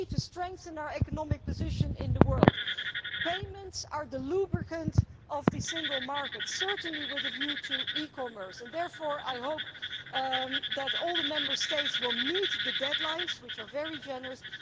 we need to strengthen our economic position in the world. Payments are the lubricant of the single market, certainly with a view to e commerce, and therefore I hope that all the Member States will meet the deadlines, which are very generous.